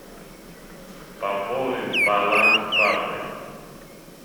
пополнить баланс папы